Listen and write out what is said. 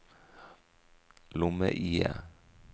lomme-IE